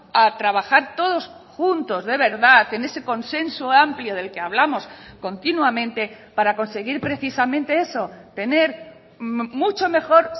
a trabajar todos juntos de verdad en ese consenso amplio del que hablamos continuamente para conseguir precisamente eso tener mucho mejor